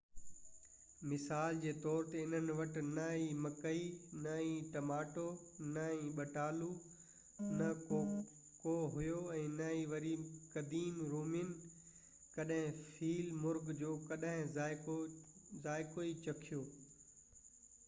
مثال جي طور تي انهن وٽ نه ئي مڪئي نه ئي ٽماٽو نه ئي ٻٽالو نه ڪوڪو هيو ۽ نه ئي وري قديم رومين ڪڏهن فيل مرغ جو ڪڏهن ذائقو ئي چکيو